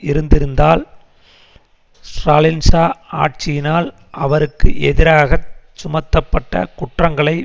இருந்திருந்தால் ஸ்ராலினிசா ஆட்சியினால் அவருக்கு எதிராக சுமத்தப்பட்ட குற்றங்களை